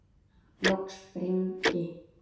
Loks brýndi